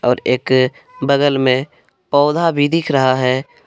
और एक बगल में पौधा भी दिख रहा है।